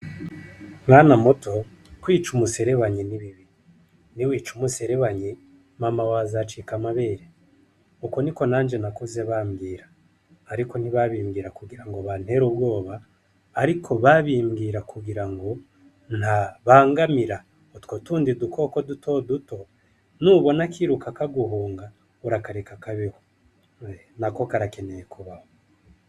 Mwana muto, kwiga umuserebanyi ni bibi. Niwica umuserebanyi mama wawe azocika amabere. Uko Niko nanje nakuze bambwira, ariko ntibabimbwira kugirango bantere ubwoba, ariko babimbwira kugura ntabangamira utwo tundi dukoko dutoduto. Niwabona kiruka kaguhunga urakareka kabeho, nako karakeneye kubaho.